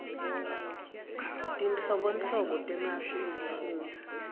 tinhlobonhlobo temasu ekufundza